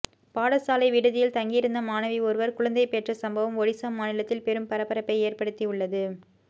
பாடசாலை விடுதியில் தங்கியிருந்த மாணவி ஒருவர் குழந்தை பெற்ற சம்பவம் ஒடிசா மாநிலத்தில் பெரும் பரபரப்பை ஏற்படுத்தி உள்ளது